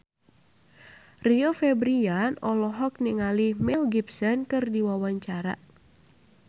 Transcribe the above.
Rio Febrian olohok ningali Mel Gibson keur diwawancara